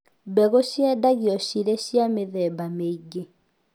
Mbegũ ciendagio cirĩ cia mĩthemba mĩingĩ